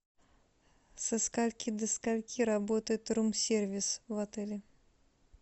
со скольки до скольки работает рум сервис в отеле